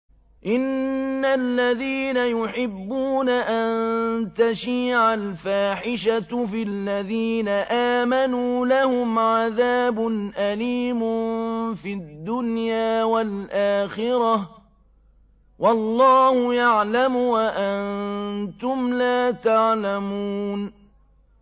إِنَّ الَّذِينَ يُحِبُّونَ أَن تَشِيعَ الْفَاحِشَةُ فِي الَّذِينَ آمَنُوا لَهُمْ عَذَابٌ أَلِيمٌ فِي الدُّنْيَا وَالْآخِرَةِ ۚ وَاللَّهُ يَعْلَمُ وَأَنتُمْ لَا تَعْلَمُونَ